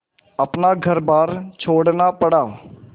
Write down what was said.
अपना घरबार छोड़ना पड़ा